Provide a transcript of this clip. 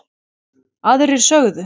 Aðrir sögðu